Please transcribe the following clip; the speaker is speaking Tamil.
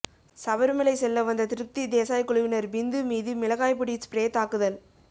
சபரிமலை செல்ல வந்த திருப்தி தேசாய் குழுவினர் பிந்து மீது மிளகாய் பொடி ஸ்பிரே தாக்குதல்